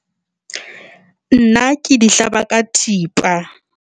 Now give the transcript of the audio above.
Nna ke di hlaba ka thipa.